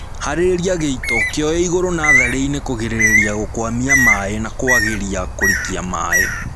Harĩria gĩito kĩoe igũru natharĩinĩ kũgĩrĩrĩria gũkwamia maĩĩ na kwagĩria kũrikia maĩĩ